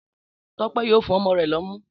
Tọ́pẹ́ yóò fún ọmọ rẹ lọ́mú.